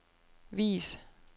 vis